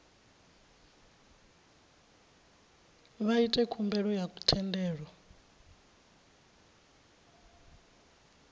vha ite khumbelo ya thendelo